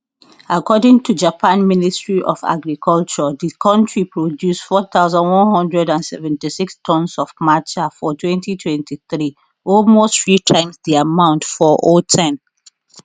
according to japan ministry of agriculture di country produce 4176 tons of matcha for 2023 almost three times di amount for010